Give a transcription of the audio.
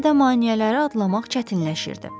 Get-gedə maneələri adlamaq çətinləşirdi.